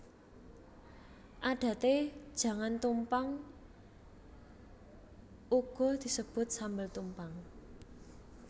Adaté jangan tumpang uga disebut sambel tumpang